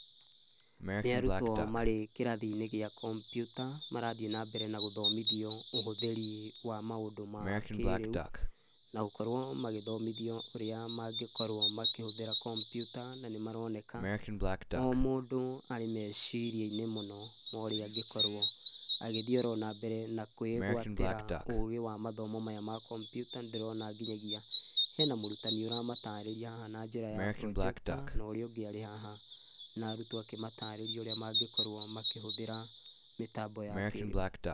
Nĩ arutwo marĩ kĩrathi-inĩ gĩa kompyuta marathiĩ na mbere na gũthomithio ũhũthĩri wa maũndũ ma kĩrĩu na gũkorwo magĩthomithio ũrĩa mangĩkorwo makĩhũthĩra kompyuta na nĩ maroneka, o mũndũ arĩ mecirĩainĩ mũno ũrĩa angĩkorwo agĩthii ona mbere na kwĩgwatĩra ũgĩ wa mathomo maya ma kompyuta na ndĩrona nginyagia hena mũrutani ũramatarĩria haha na njĩra ya projector na ũrĩa ũngĩ arĩ haha na arutwo akĩmatarĩria ũrĩa mangĩkorwo makĩhũthĩra mĩtambo ya kĩrĩu.